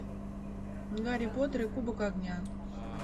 гарри поттер и кубок огня